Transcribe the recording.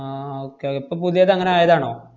ആഹ് okay o~ ഇപ്പ പുതിയതങ്ങനെ ആയതാണോ?